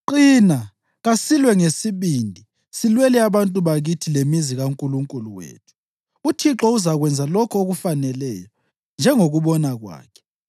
Qina, kasilwe ngesibindi silwela abantu bakithi lemizi kaNkulunkulu wethu. UThixo uzakwenza lokho okufaneleyo njengokubona kwakhe.”